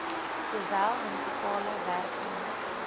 sowel munisipale werknemers